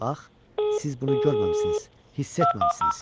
Bax, siz bunu görməmisiniz, hiss etməmisiniz.